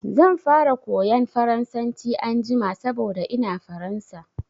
Zan fara koyan Faransanci anjima saboda ina Faransa.